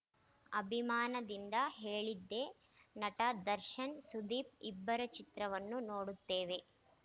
ಅಭಿಮಾನದಿಂದ ಹೇಳಿದ್ದೆ ನಟ ದರ್ಶನ್‌ ಸುದೀಪ್‌ ಇಬ್ಬರ ಚಿತ್ರವನ್ನೂ ನೋಡುತ್ತೇವೆ